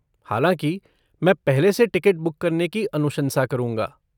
हालाँकि, मैं पहले से टिकट बुक करने की अनुशंसा करूँगा।